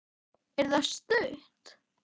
Er það stutt?